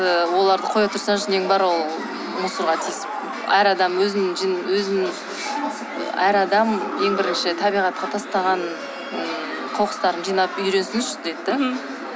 ы оларды қоя турсаңшы нең бар ол мусорға тисіп әр адам өізінің әр адам ең бірінші табиғатқа тастаған ыыы қоқыстарын жинап үйренсінші деді де